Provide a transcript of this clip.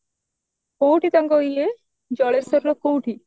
କଉଠି ତାଙ୍କ ଇଏ ଜଳେଶ୍ଵର ନା କଉଠି